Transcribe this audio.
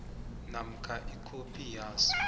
namkha ikhophi yaso